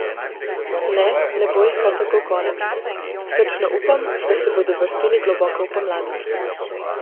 Ne, ne bo jih kar tako konec, srčno upam, da se bodo vrstili globoko v pomlad.